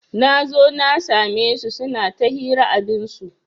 Nazo na sa me su suna ta hira abinsu